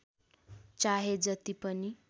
चाहे जति पनि